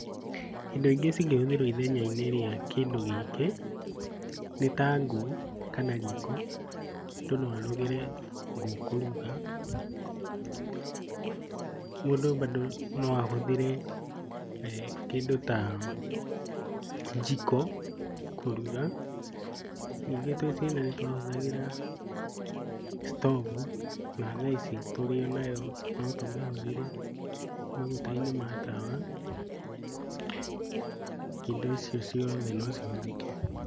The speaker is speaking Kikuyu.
Indo ingĩ cingĩhũthĩrwo ithenya-inĩ rĩa kĩndũ gĩkĩ, nĩ ta ngũ kana riko. Mũndũ no ahũthĩre ngũ kũruga. Mũndũ bado noahũthĩre kĩndũ ta njiko kũruga. Nyingĩ twĩ ciana nĩtwahũthagĩra stovu nathaa ici tũrĩonayo nũtũmĩhũthĩre maguta-inĩ ma tawa. Indo icio ciothe nocihũthĩke.